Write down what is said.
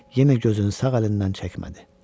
Yenə gözünü sağ əlindən çəkmədi.